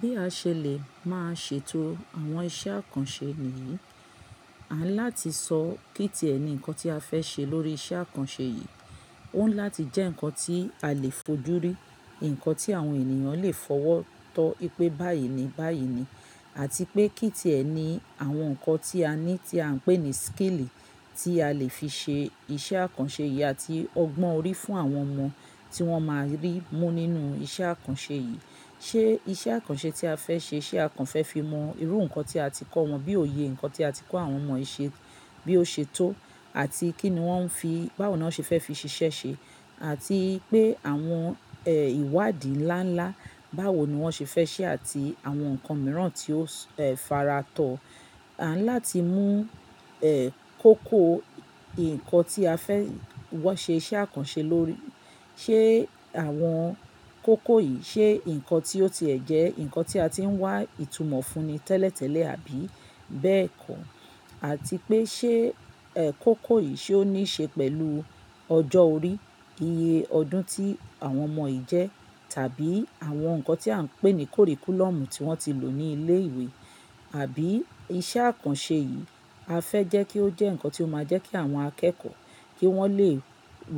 Bí a ṣe lè máa ṣètò àwọn iṣẹ́ àkànṣe nìyí, à ń láti sọ kí tí ẹ ni nǹkan tí a fẹ́ ṣe lórí iṣẹ́ àkànṣe yìí. Ó ń láti jẹ́ nǹkan tí a lè fojú rí, nǹkan tí àwọn ènìyàn lè fọwọ́ tọ́ pé báyìí ni báyìí ni àti pé kí tí ẹ ni àwọn nǹkan tí a ní tí à ń pè ní skill tí a lè fi ṣe iṣẹ́ àkànṣe yìí àti ọgbọ́n orí fún àwọn ọmọ tí wọ́n máa rí mú nínú iṣẹ́ àkànṣe yìí. Ṣé iṣẹ́ àkànṣe tí a fẹ́ ṣe, ṣe a kàn fẹ́ fi mọ irú nǹkan tí a ti kọ́ wọn bí òye, nǹkan tí a ti kọ́ àwọn ọmọ ṣe, bí ó ṣe tó àti kí ni wọ́n fi báwo ni wọ́n ṣe fẹ́ fi ṣiṣẹ́ ṣe àti pé àwọn, ẹ́, ìwádìí ńlá ńlá báwo ni wọ́n ṣe fẹ́ ṣe àti àwọn nǹkan mìíràn tí ó, ẹ́, faratọ. À ń láti mú, ẹ́, kókó ìǹkan tí a fẹ́ wọ́ ṣe iṣẹ́ àkànṣe lórí. Ṣé àwọn kókó yìí, ṣe nǹkan tí ó ti ẹ̀ jẹ́ nǹkan tí a ti ń wá ìtumọ̀ fún ni tẹ́lẹ̀ tẹ́lẹ̀ àbí bẹ́ẹ̀ kọ́? Àti pé ṣé, ẹ́, kókó yìí ṣe ó ní ṣe pẹ̀lú ọjọ́ orí, iye ọdún tí àwọn ọmọ yìí jẹ́ tàbí àwọn nǹkan tí à ń pè ní curriculum tí wọ́n ti lò ní ilé ìwé. Àbí iṣẹ́ àkànṣe yìí a fẹ́ jẹ́ kí ó jẹ́ nǹkan tí ó máa jẹ́ kí àwọn akẹ́kọ̀ọ́ kí wọ́n lè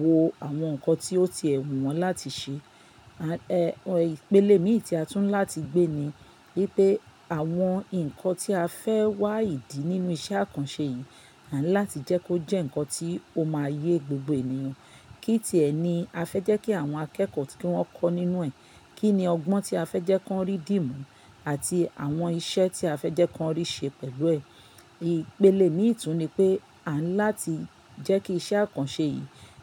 wo àwọn nǹkan tí ó ti ẹ̀ wù wọ́n láti ṣe. Ẹ̀, ìpele mìíràn tí a tún ń láti gbé ni wípé àwọn nǹkan tí a fẹ́ wá ìdí nínú iṣẹ́ àkànṣe yìí, à ń láti jẹ́ kó jẹ́ nǹkan tí ó máa yé gbogbo ènìyàn. Kí tí ẹ ni a fẹ́ jẹ́ kí àwọn akẹ́kọ̀ọ́ kí wọ́n kọ́ nínú ẹ̀? Kí ni ọgbọ́n tí a fẹ́ jẹ́ kí wọ́n rí dímú? Àti àwọn iṣẹ́ tí a fẹ́ jẹ́ kí wọ́n rí ṣe pẹ̀lú ẹ̀? Ìpele mìí tún ni pé à ń láti jẹ́ kí iṣẹ́ àkànṣe yìí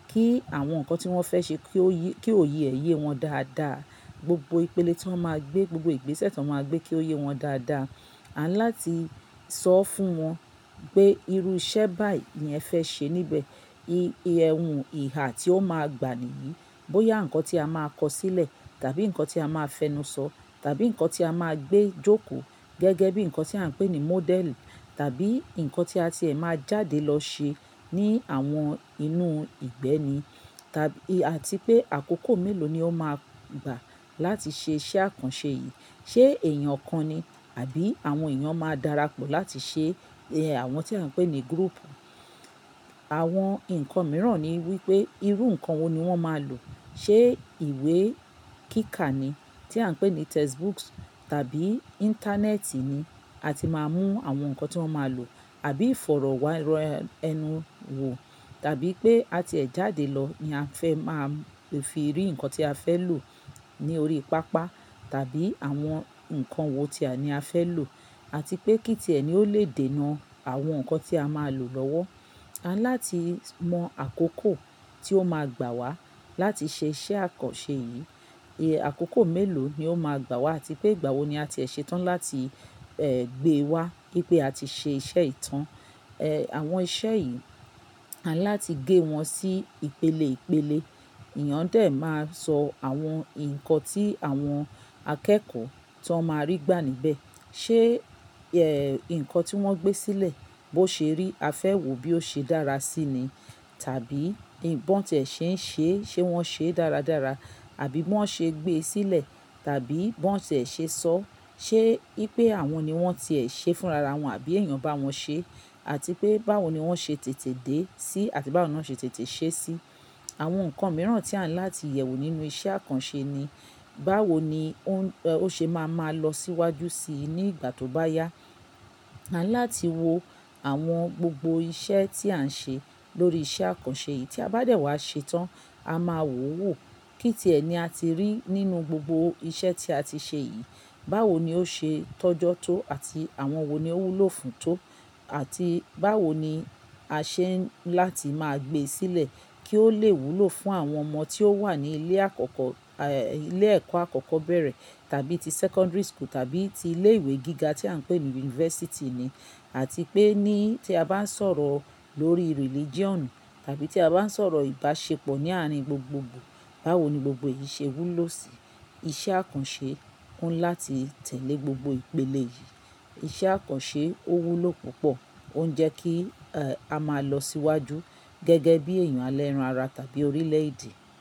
kí àwọn nǹkan tí wọ́n fẹ́ ṣe kí ó yé, kí ó yé ẹ yé wọn dáadáa. Gbogbo ìpele tí wọ́n máa gbé, gbogbo ìgbésẹ̀ tí wọ́n máa gbé kí ó yé wọn dáadáa. À ń láti sọ fún wọn pé irú iṣẹ́ báyìí ni ẹ fẹ́ ṣe níbẹ̀. Iyen ohun ìhà tí ó máa gbà nìyí, bóyá nǹkan tí a máa kọ sílẹ̀ tàbí nǹkan tí a máa fẹnu sọ tàbí nǹkan tí a máa gbé jókòó gẹ́gẹ́ bí nǹkan tí à ń pè ní model tàbí nǹkan tí a ti ẹ̀ máa jáde lọ ṣe ní àwọn inú ìgbẹ́ ni tàbí àti pé àkókò mélòó ni ó máa gbà láti ṣe iṣẹ́ àkànṣe yìí. Ṣé èèyàn ọ̀kan ni àbí àwọn èèyàn máa dára pọ̀ láti ṣe, ẹ́, àwọn tí à ń pè ní group? Àwọn nǹkan mìíràn ni wípé irú nǹkan wo ni wọ́n máa lò. Ṣé ìwé kíkà ni tí à ń pè ní textbooks tàbí ìntánẹ́ẹ̀tì ni a ti máa mú àwọn nǹkan tí wọ́n máa lò àbí ìfọ̀rọ̀ wá ẹnu wò tàbí pé a ti ẹ̀ jáde lọ ni a fẹ́ máa fi rí nǹkan tí a fẹ́ lò ní orí pápá tàbí àwọn nǹkan wo tí àní a fẹ́ lò àti pé kí tí ẹ ni ó lè dènà àwọn nǹkan tí a máa lò lọ́wọ́. A ń láti mọ àkókò tí ó máa gbà wá láti ṣe iṣẹ́ àkànṣe yìí. Ẹ̀, àkókò mélòó ni ó máa gbà wá àti pé ìgbà wo ni a ti ẹ ṣe tán láti, ẹ́, gbé wá kí pé a ti ṣe iṣẹ́ ìtàn. Ẹ̀, àwọn iṣẹ́ yìí, à ń láti gé wọn sí ìpele ìpele. Ẹ̀yàn dẹ̀ máa sọ àwọn nǹkan tí àwọn akẹ́kọ̀ọ́ tó máa rí gbà níbẹ̀. Ṣé, ẹ́, nǹkan tí wọ́n gbé sílẹ̀ bó ṣe rí a fẹ́ wò bí ó ṣe dára sí ni tàbí bí wọn tí ẹ ṣe ń ṣe, ṣe wọ́n ṣe dáradára àbí bó ṣe gbé sílẹ̀ tàbí bó ṣe ẹ ṣe sọ. Ṣé í pé àwọn ni wọ́n ti ẹ ṣe fún ra wọn àbí èèyàn bá wọn ṣe àti pé báwo ni wọ́n ṣe tètè dé sí àti báwo ni wọ́n ṣe tètè ṣe sí. Àwọn nǹkan mìíràn tí à ń láti yẹ̀wò nínú iṣẹ́ àkànṣe ni báwo ni ó, ẹ́, ó ṣe máa ma lọ síwájú sí i ní ìgbà tó bá yá. À ń láti wo àwọn gbogbo iṣẹ́ tí à ń ṣe lórí iṣẹ́ àkànṣe yìí tí a bá dẹ̀ wá ṣe tán, a máa wò ó wò. Kí tí ẹ ni a ti rí nínú gbogbo iṣẹ́ tí a ti ṣe yìí, báwo ni ó ṣe tọ́jọ́ tó àti àwọn wo ni ó wúlò fún tó àti báwo ni a ṣe ń láti máa gbé sílẹ̀ kí ó lè wúlò fún àwọn ọmọ tí ó wà ní ilé àkọ́kọ́, ẹ́, ilé ẹ̀kọ́ àkọ́kọ́ bẹ̀rẹ̀ tàbí ti secondary school tàbí ti ilé ìwé gíga tí à ń pè ní university ni àti pé ní tí a bá ń sọ̀rọ̀ lórí religion tàbí tí a bá ń sọ̀rọ̀ ìbáṣepọ̀ ní àárín gbogbogbò, báwo ni gbogbo yìí ṣe wúlò sí i. Iṣẹ́ àkànṣe kún láti tẹ̀lé gbogbo ìpele yìí. Iṣẹ́ àkànṣe ó wúlò púpọ̀, ó ń jẹ́ kí, ẹ́, a máa lọ síwájú gẹ́gẹ́ bí èèyàn alẹ́ran ara tàbí orílẹ̀ èdè.